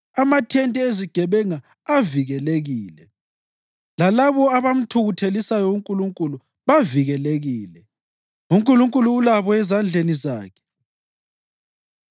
Amathente ezigebenga avikelekile, lalabo abamthukuthelisayo uNkulunkulu bavikelekile, uNkulunkulu ulabo ezandleni zakhe.